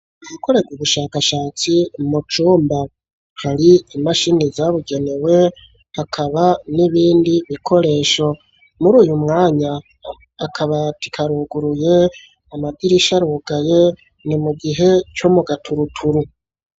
Uwukorera ubushakashatsi mu cumba hari imashini zabigenewe akaba n'ibindi bikoresho muri uyu mwanya akabati karuguruye amadirisha arugaye ni mu gihe co mugaturuturu.